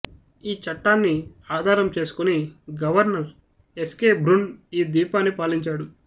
ఈ చట్టాన్ని ఆధారం చేసుకుని గవర్నర్ ఎస్కే బ్రున్ ఈ ద్వీపాన్ని పాలించాడు